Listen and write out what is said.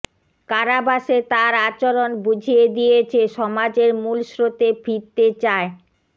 কারাবাসে তার আচরণ বুঝিয়ে দিয়েছে সমাজের মূল স্রোতে ফিরতে চায়